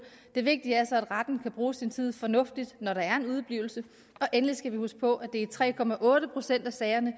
det vigtige er så at retten kan bruge sin tid fornuftigt når der er en udeblivelse og endelig skal vi huske på at det er i tre procent af sagerne